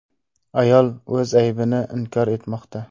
Ayol o‘z aybini inkor etmoqda.